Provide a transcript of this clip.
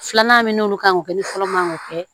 Filanan min n'olu kan k'o kɛ ni fɔlɔ man k'o kɛ